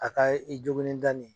A ka i jogilen da nin